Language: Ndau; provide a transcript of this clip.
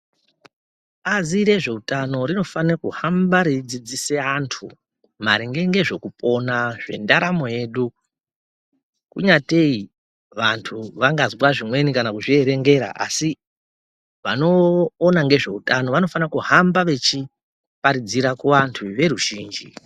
Bazi rezveutano rinofanira kuhamba reidzidzisa antu maringe nezvekupona zvendaramo yedu kunyatei vantu vangazwa zvimwe kana kuzvierengera asi vanoona ngezveutano anofanirwa kuhamba veiparidzira kuvatu veruzhinji